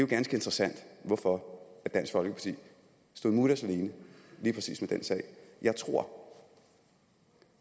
ganske interessant hvorfor dansk folkeparti stod mutters alene lige præcis med den sag jeg tror